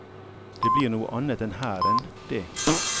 Det blir noe annet enn hæren, det.